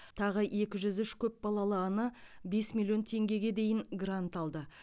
тағы екі жүз үш көпбалалы ана бес миллион теңгеге дейін грант алды